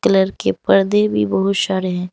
Colour के पर्दे भी बहुत सारे।